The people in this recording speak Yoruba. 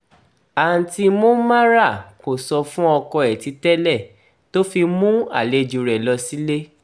àǹtí monmara kò sọ fún ọkọ ẹ̀ ti tẹ́lẹ̀ tó fi mú àlejò rẹ̀ lọ sílé